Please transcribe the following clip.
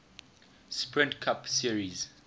sprint cup series